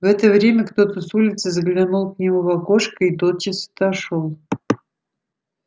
в это время кто-то с улицы заглянул к нему в окошко и тотчас отошёл